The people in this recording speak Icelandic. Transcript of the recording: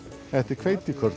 þetta er